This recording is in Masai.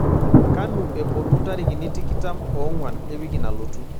kanu epuonu ntarikini tikitam oong'uan ewiki nalotu